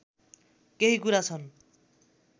केही कुरा छन्